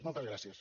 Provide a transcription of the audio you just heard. moltes gràcies